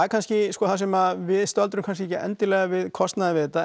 kannski sko það sem við stöldrum kannski ekki endilega við kostnaðinn við þetta